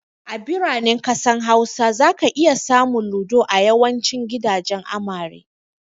A biranen ƙasar Hausa, zaka iya samun Ludo a yawancin gidajen amare.